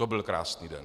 To byl krásný den!